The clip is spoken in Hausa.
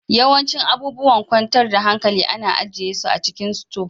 Yawancin abubuwan kwantar da hankali ana ajiye su a cikin sito